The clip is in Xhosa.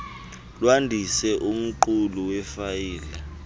lwandise umqulu wefayile